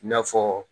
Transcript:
I n'a fɔ